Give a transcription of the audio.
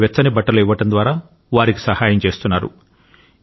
కొందరు వెచ్చని బట్టలు ఇవ్వడం ద్వారా వారికి సహాయం చేస్తున్నారు